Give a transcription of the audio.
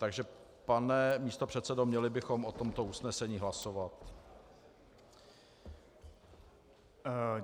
Takže, pane místopředsedo, měli bychom o tomto usnesení hlasovat.